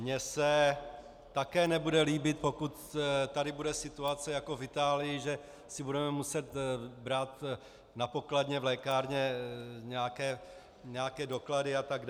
Mně se také nebude líbit, pokud tady bude situace jako v Itálii, že si budeme muset brát na pokladně v lékárně nějaké doklady atd.